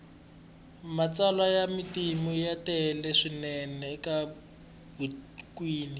matsalwa ya matimu ya tele swinene etibukwini